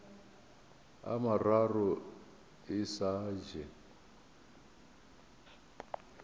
a mararo e sa je